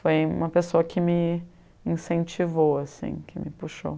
Foi uma pessoa que me me incentivou assim, que me puxou.